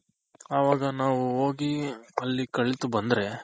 ಅವಾಗ ನಾವು ಹೋಗಿ ಅಲ್ ಕಲ್ತು ಬಂದ್ರೆ